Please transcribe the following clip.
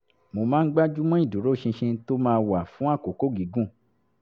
mo máa ń gbájú mọ́ ìdúróṣinṣin tó máa wà fún àkókò gígùn